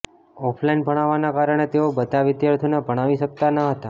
offline ભણાવવાના કારણે તેઓ બધા વિદ્યાર્થીઓને ભણાવી શકતા ન હતા